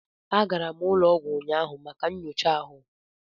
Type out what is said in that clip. Agara m ụlọ ọgwụ ụnyaahụ maka nyocha ahụ